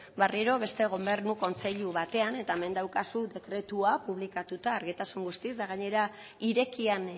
berriro beste gobernu kontseilu batean eta hemen daukazu dekretua publikatuta argitasun guztiz eta gainera irekian